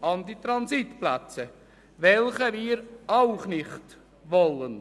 an die Transitplätze gekoppelt, welche wir auch nicht wollen.